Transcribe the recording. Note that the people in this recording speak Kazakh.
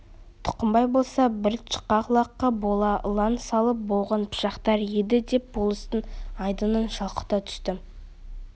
тұқымбай болса бір тышқақ лаққа бола ылаң салып боғын пышақтар еді деп болыстың айдынын шалқыта түсті